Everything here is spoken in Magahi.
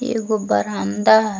एगो बरामदा --